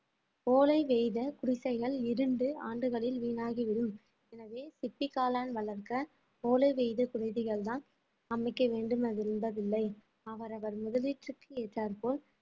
ஓலை வேய்த குடிசைகள் இரண்டு ஆண்டுகளில் வீணாகிவிடும் எனவே சிப்பி காளான் வளர்க்க ஓலை வேய்த குடிசைகள்தான் அமைக்க வேண்டும் என்பதில்லை அவரவர் முதலீட்டிற்கு ஏற்றார் போல்